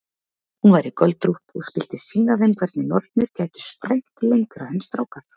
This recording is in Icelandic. Hún væri göldrótt og skyldi sýna þeim hvernig nornir gætu sprænt lengra en strákar.